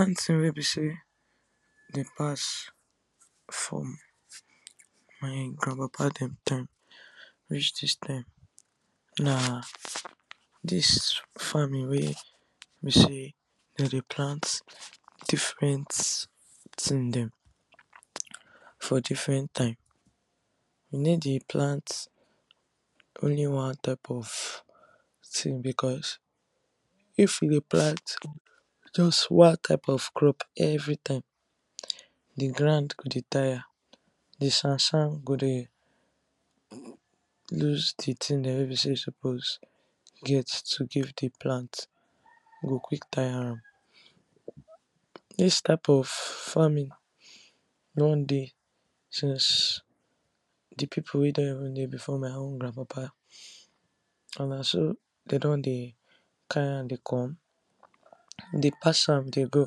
One thing wey be sey dem pass from my grand papa dem time reach dis time na dis farming wey be sey dem dey plant different thing dem for different time, dem no dey plant only one type of thing because if you dey plant just one type of crop every time di ground go dey tire di sand sand go dey loose di thing dem wey be sey e suppose get to dey give di plant, e go quick tire am. Dis type of farming don dey since di people wey don even dey before my own grand papa and na so dem don dey carry am dey come, dey pass am dey go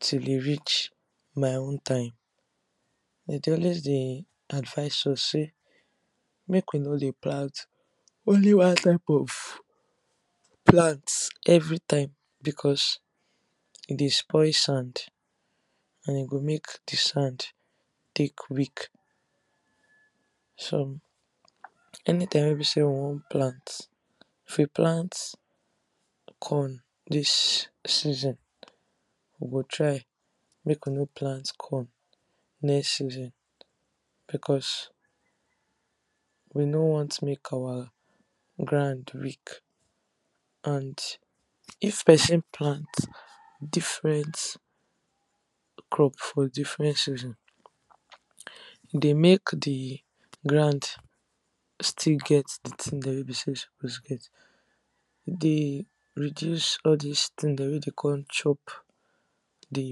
till e reach my own time. Dem dey always dey advise us sey mak we no dey plant only one type of plant every time because e dey spoil sand and e go make di sand take weak. So anytime wey be sey we wan plant, if we plant corn dis season, we go try make we no plant corn next season because we no want make our ground weak. And if person plant different crop for different season, e dey make di ground still get di thing dem wey be sey e suppose get e dey reduce all dis thing dem wey dey come chop di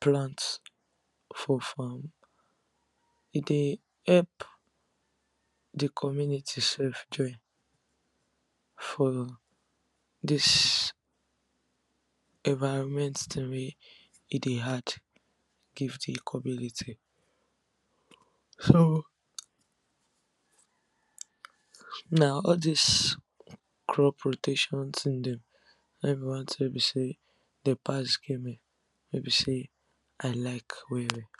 plant for farm. E dey help di community sef join for dis environment thing wey e dey add give di community so na all dis crop rotation thing dem na im be one thing wey be sey dem pass give me wey be sey I like well well.